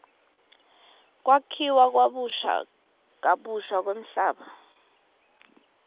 kwakhiwa kabusha kwemhlaba